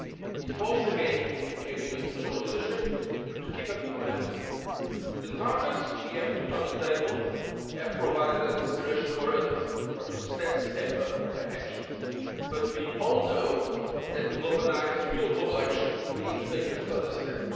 It falls again to the European Union to show leadership and to keep up the momentum. The targets we have put on the table have provided an inspiration for others to step up their actions, but we all know that to galvanise real global action, we need to take a further step.